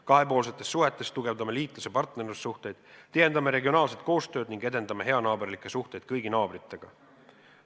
Kahepoolsetes suhetes tugevdame liitlas- ja partnerlussuhteid, tihendame regionaalset koostööd ning edendame heanaaberlikke suhteid kõigi naabritega.